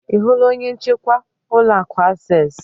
Ị hụla onye njikwa ụlọ akụ Akses?